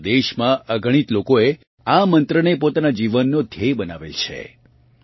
આપણાં દેશમાં અગણિત લોકોએ આ મંત્રને પોતાના જીવનનો ધ્યેય બનાવેલ છે